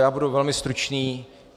Já budu velmi stručný.